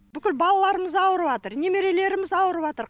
бүкіл балаларымыз ауырыватыр немерелеріміз ауырыватыр